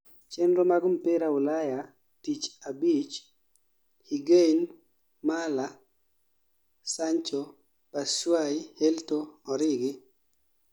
chenro mag mpira ulayantich abich:Higain, mala, sango, bathushayi, helto, origi